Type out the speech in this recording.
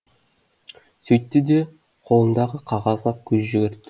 сөйтті де қолындағы қағазға көз жүгіртті